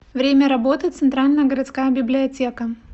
время работы центральная городская библиотека